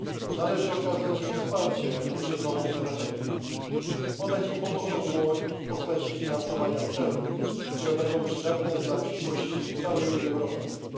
Należy okazać im wsparcie poprzez nową strategię, podać im pomocną dłoń w postaci finansowania celów, które będą przydatne dla przyszłości całej Unii Europejskiej.